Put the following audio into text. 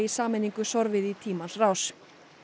sameiningu sorfið í tímans rás